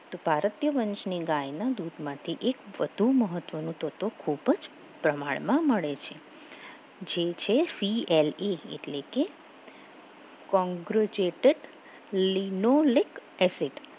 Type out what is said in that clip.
તો ભારતીય વંશની ગાયના દૂધમાંથી એક વધુ મહત્વનું તો તો ખૂબ જ પ્રમાણમાં મળે છે જે તે CLE એટલે કે congrujetic linolic acid